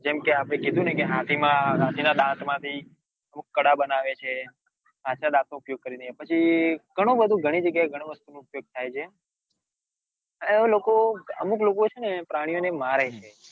કેમ કે આપડે કીધું ને હાથી માં હાથી ના દાંત માંથી અમુક કડા બનાવે છે વાઘ ના દાંત નો ઉપયોગ કરીને પછી ઘણું બધું ઘણી જગ્યાય ઘણી ઘણી વસ્તુનો ઉપયોગ થાય છે અને લોકો અમુક લોકો પ્રાણીઓ ને મારે છે.